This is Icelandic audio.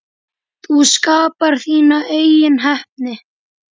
Þú skapar þína eigin heppni.